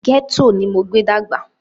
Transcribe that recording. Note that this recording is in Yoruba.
Gẹ́tò ní mo gbé dàgbà.